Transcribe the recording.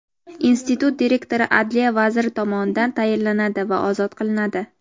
Institut direktori adliya vaziri tomonidan tayinlanadi va ozod qilinadi.